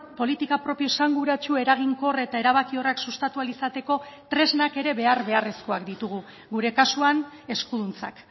politika propio esanguratsu eraginkor eta erabakiorrak sustatu ahal izateko tresnak ere behar beharrezkoak ditugu gure kasuan eskuduntzak